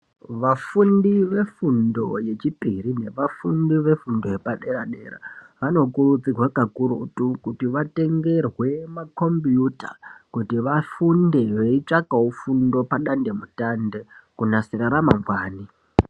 Vafundi vefundo yechipiri nevafundi vefundo yepadera-dera vanokurudzirwa kakurutu kuti vatengerwe makombiyuta kuti vafunde veitsvakawo fundo padandemutande kunasira ramangwani.